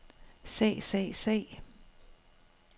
sag sag sag